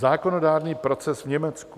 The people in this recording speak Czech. Zákonodárný proces v Německu.